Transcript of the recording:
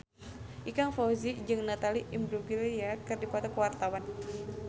Ikang Fawzi jeung Natalie Imbruglia keur dipoto ku wartawan